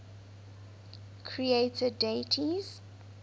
creator deities